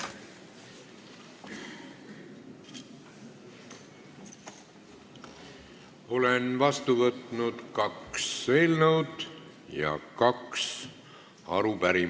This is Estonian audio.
Olen vastu võtnud kaks eelnõu ja kaks arupärimist.